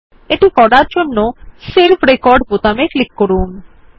এটি করার জন্য সেভ রেকর্ড বোতামে ক্লিক করুন